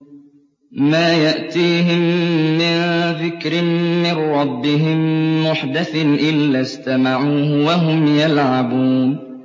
مَا يَأْتِيهِم مِّن ذِكْرٍ مِّن رَّبِّهِم مُّحْدَثٍ إِلَّا اسْتَمَعُوهُ وَهُمْ يَلْعَبُونَ